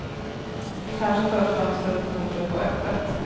Kanske för att fönstret på kortet var öppet.